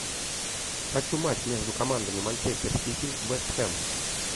хочу матч между командами манчестер сити вест хэм